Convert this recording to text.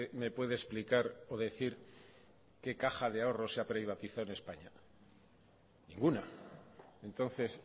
me puede explicar o decir qué caja de ahorros se ha privatizado en españa ninguna entonces